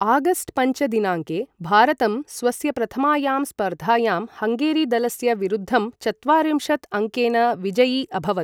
August पञ्च दिनाङ्के, भारतं स्वस्य प्रथमायां स्पर्धायां, हङ्गेरीदलस्य विरुद्धं चत्वारिंशत् अङ्केन विजयि अभवत्।